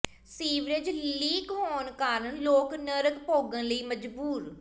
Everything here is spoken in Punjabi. ਸੀਵਰੇਜ ਲੀਕ ਹੋਣ ਕਾਰਨ ਲੋਕ ਨਰਕ ਭੋਗਣ ਲਈ ਮਜਬੂਰ